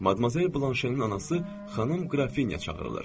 Madmazel Blanşenin anası xanım qrafinya çağırılır.